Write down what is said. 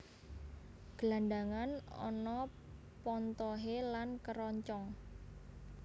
Gelangan ana pontohé lan kêroncong